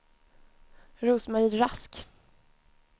Rose-Marie Rask